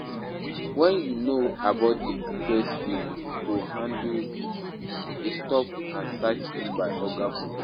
Wetin you know about di best way to handle a stop-and-search by oga police?